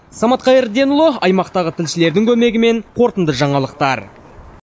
самат қайырденұлы аймақтағы тілшілердің көмегімен қорытынды жаңалықтар